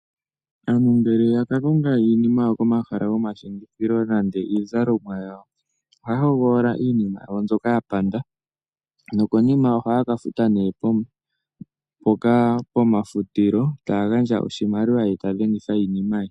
Aanhu ngele yaka koonga iinima yawo komahala gomashingithilo nande iizalomwa yawo oha hogolola iinima yawo mbyoka yapanda nokonima ohaka futa neh mpoka pomafutilo tagandja oshimaliwa ye tadhengidha iinima ye.